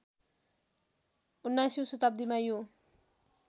१९औँ शताब्दीमा यो